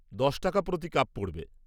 দশ টাকা প্রতি কাপ পড়বে।